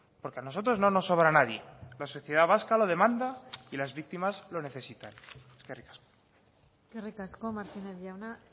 porque a nosotros no nos sobra nadie la sociedad vasca la demanda y las víctimas lo necesitan eskerrik asko eskerrik asko martínez jauna